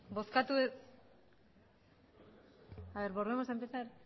a ver volvemos a empezar